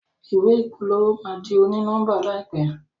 ìwé ìpolówó ma dì oni-nọmba láìpé